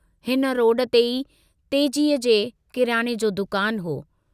हिन रोड ते ई तेजीअ जे किरायने जो दुकान हो।